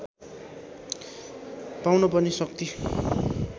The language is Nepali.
पाउन पर्ने शक्ति